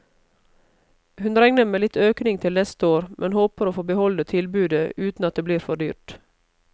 Hun regner med litt økning til neste år, men håper å få beholde tilbudet uten at det blir for dyrt.